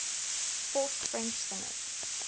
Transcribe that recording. forced french singers